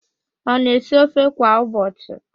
Ọ na-esi ofe kwa ụbọchị?